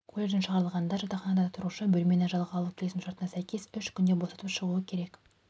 колледжден шығарылғанда жатақханада тұрушы бөлмені жалға алу келісімшартына сәйкес үш күнде босатып шығуы керек